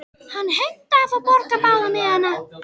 Hann heimtaði að fá að borga báða miðana.